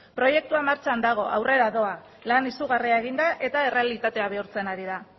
proiektua martxan dago aurrera doa lan izugarria egin da eta errealitatea bihurtzen ari da